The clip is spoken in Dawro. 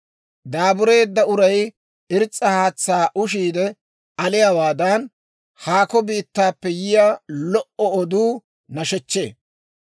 Daabureedda uray irs's'a haatsaa ushiide aliyaawaadan, haakko biittaappe yiyaa lo"o oduu nashechchee.